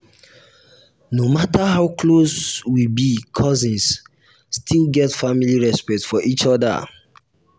no matter how close we be cousins still get family respect for each other.